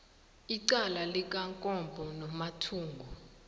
icala likamkombo nomathungu